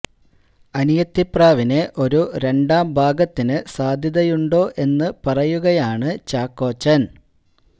അനിയത്തി പ്രാവിന് ഒരു രണ്ടാം ഭാഗത്തിന് സാധ്യതയുണ്ടോ എന്ന് പറയുകയാണ് ചാക്കോച്ചന്